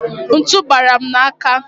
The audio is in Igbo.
Ntu bara m n'aka.